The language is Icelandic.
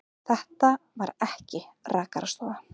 Þetta var ekki rakarastofa.